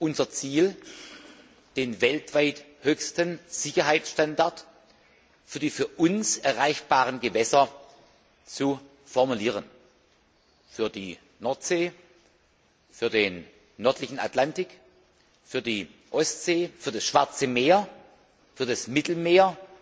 Unser Ziel ist es, den weltweit höchsten Sicherheitsstandard für die für uns erreichbaren Gewässer zu formulieren für die Nordsee, für den nördlichen Atlantik, für die Ostsee, für das Schwarze Meer, für das Mittelmeer